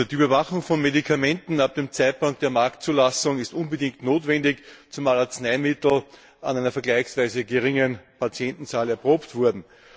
Die Überwachung von Medikamenten ab dem Zeitpunkt der Marktzulassung ist unbedingt notwendig, zumal Arzneimittel an einer vergleichsweise geringen Patientenzahl erprobt wurden.